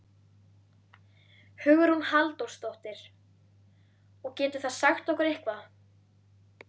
Hugrún Halldórsdóttir: Og getur það sagt okkur eitthvað?